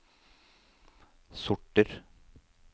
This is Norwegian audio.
sorter